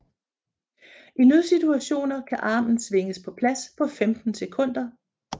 I nødsituationer kan armen svinges på plads på 15 sekunder